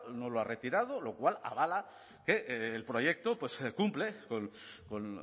no lo ha retirado lo cual avala que el proyecto pues cumple con